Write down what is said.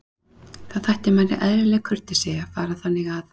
Þá þætti manni eðlileg kurteisi að fara þannig að.